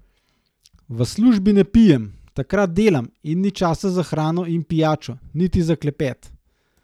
V službi ne pijem, takrat delam in ni časa za hrano in pijačo, niti za klepet.